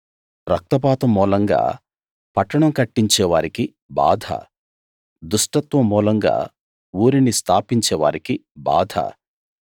రక్తపాతం మూలంగా పట్టణం కట్టించే వారికి బాధ దుష్టత్వం మూలంగా ఊరిని స్థాపించే వారికి బాధ